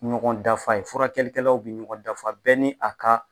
Ɲɔgɔn dafa ye furakɛlikɛlaw bi ɲɔgɔn dafa bɛɛ ni a ka